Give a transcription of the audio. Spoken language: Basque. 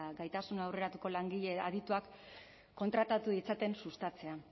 gaitasun aurreratuko langile adituak kontratatu ditzaten sustatzea